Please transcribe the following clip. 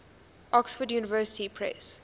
oxford university press